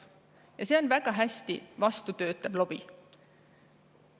Ja on väga hästi sellele vastu töötav lobi.